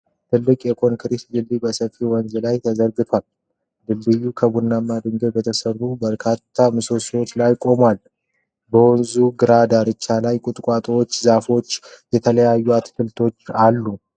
ትልቅ የኮንክሪት ድልድይ በሰፊ ወንዝ ላይ ተዘርግቷል። ድልድዩ ከቡናማ ድንጋይ በተሠሩ በርካታ ምሰሶዎች ላይ ቆሟል። በወንዙ ግራ ዳርቻ ላይ ቁጥቋጦዎችና ዛፎች አሉ።